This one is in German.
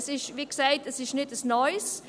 Es ist, wie gesagt, kein neues.